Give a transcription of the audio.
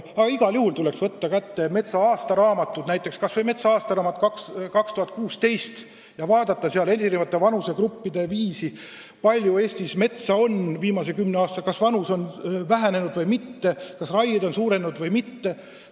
Aga igal juhul tuleks võtta kätte metsanduse aastaraamatud, kas või aastaraamat "Mets 2016", ja vaadata sealt andmeid eri vanusegruppide kohta, kui palju Eestis metsa on viimase kümne aastaga raiutud, kas metsa vanus on vähenenud või mitte, kas raiemahud on suurenenud või mitte.